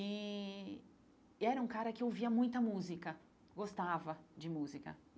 E e era um cara que ouvia muita música, gostava de música.